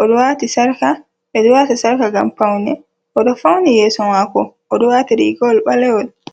o ɗo waati sarka. Ɓe ɗo waata sarka ngam paune, o ɗo fawni yeeso maako, o ɗo waati riigawol ɓalewol.